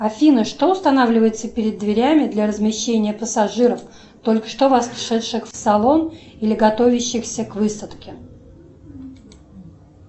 афина что устанавливается перед дверями для размещения пассажиров только что вошедших в салон или готовящихся к высадке